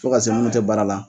Fo ka se munnu te baara la